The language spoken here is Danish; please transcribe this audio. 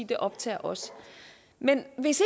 det optager os men hvis